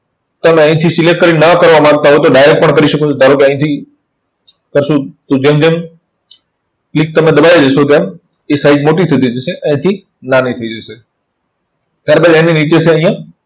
તમે અહીંથી select કરી ને ન કરવા માંગતા હોય તો direct પણ કરી શકો છો. ધારો કે અહીંથી કરશું. હું જેમ જેમ click તમે દબાવી દેશો તેમ એ size મોટી થતી જશે. અહીંથી નાની થઇ જશે. ત્યાર બાદ એની નીચે અહીંયા